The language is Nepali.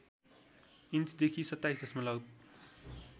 इन्चदेखि २७ दशमलव